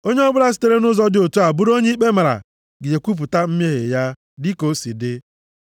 Onye ọbụla sitere nʼụzọ dị otu a bụrụ onye ikpe mara, ga-ekwupụta mmehie ya, + 5:5 \+xt Ọnụ 5:7\+xt* dịka o si dị.